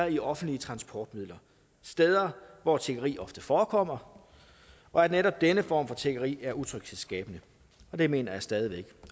i offentlige transportmidler steder hvor tiggeri ofte forekommer og at netop denne form for tiggeri er utryghedsskabende det mener jeg stadig væk